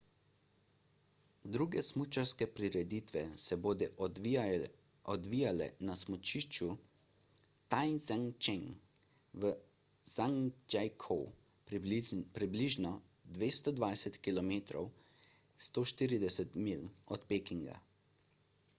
druge smučarske prireditve se bodo odvijale na smučišču taizicheng v zhangjiakou približno 220 km 140 milj od pekinga